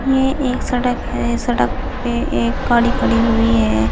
ये एक सड़क है सड़क पे एक गाड़ी खड़ी हुई है।